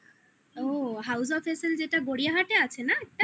collection যেটা গড়িয়াহাটে আছে না